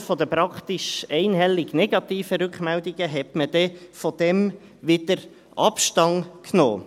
Aufgrund der praktisch einhellig negativen Rückmeldungen nahm man dann wieder Abstand davon.